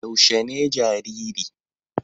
Yaushe ne jariri?